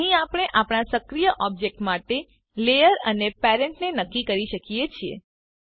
અહીં આપણે આપણા સક્રીય ઓબજેક્ટ માટે લેયર સ્તર અને પેરેન્ટ ને નક્કી કરી શકીએ છીએ